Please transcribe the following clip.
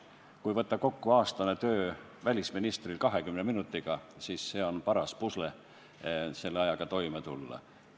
Kui välisministri aastane töö tuleb kokku võtta 20 minutiga, siis on paras pusle selle ajaga toime tulla.